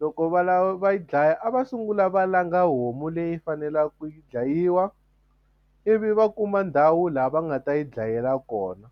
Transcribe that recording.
loko va lava va yi dlaya a va sungula va langa homu leyi faneleke ku dlayiwa ivi va kuma ndhawu laha va nga ta yi dlayela kona.